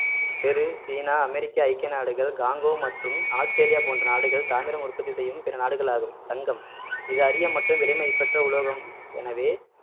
பெரு China America ஐக்கிய நாடுகள் காங்கோ மற்றும் ஆஸ்திரேலியா போன்ற நாடுகள் தாமிரம் உற்பத்தி செய்யும் பிற நாடுகள் ஆகும் தங்கம் இது அரிய மற்றும் விலைமதிப்பற்ற உலோகம் எனவே